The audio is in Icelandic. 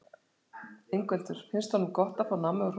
Ingveldur: Finnst honum gott að fá nammi og hrós?